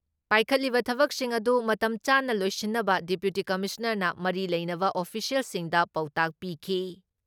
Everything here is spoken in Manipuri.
ꯄꯥꯏꯈꯠꯂꯤꯕ ꯊꯕꯛꯁꯤꯡ ꯑꯗꯨ ꯃꯇꯝ ꯆꯥꯅ ꯂꯣꯏꯁꯤꯟꯅꯕ ꯗꯤꯄꯨꯇꯤ ꯀꯃꯤꯁꯅꯥꯔꯅ ꯃꯔꯤ ꯂꯩꯅꯕ ꯑꯣꯐꯤꯁꯤꯌꯦꯜꯁꯤꯡꯗ ꯄꯥꯎꯇꯥꯛ ꯄꯤꯈꯤ ꯫